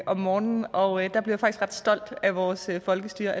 om morgenen og der blev ret stolt af vores folkestyre